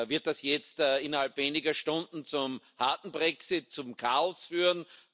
Wird das jetzt innerhalb weniger Stunden zum harten Brexit, zum Chaos führen?